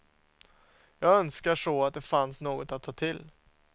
Jag önskar så att det fanns något att ta till.